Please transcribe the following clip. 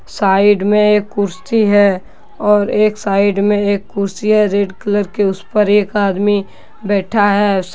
Side मे एक कुर्सी हैऔर एक साइड में एक कुर्सी है रेड कलर की उसपर एक आदमी बैठा है ।